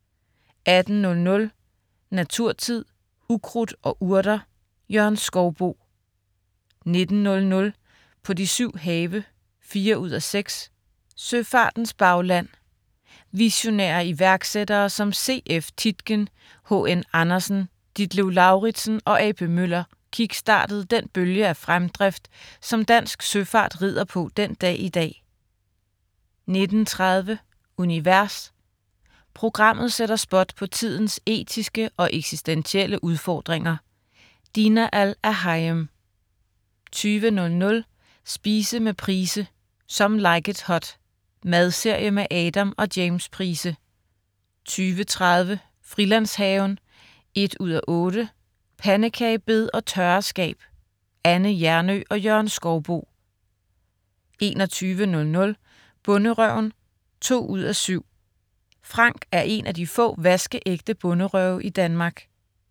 18.00 Naturtid. Ukrudt og Urter. Jørgen Skouboe 19.00 På de syv have 4:6. Søfartens bagland. Visionære iværksættere som C.F. Tietgen, H.N. Andersen, Ditlev Lauritzen og A.P. Møller kick-startede den bølge af fremdrift, som dansk søfart rider på den dag i dag 19.30 Univers. Programmet sætter spot på tidens etiske og eksistentielle udfordringer. Dina Al-Erhayem 20.00 Spise med Price. "Some Like It Hot". Madserie med Adam og James Price 20.30 Frilandshaven 1:8. Pandekagebed og tørreskab. Anne Hjernøe og Jørgen Skouboe 21.00 Bonderøven 2:7. Frank er en af de få vaskeægte bonderøve i Danmark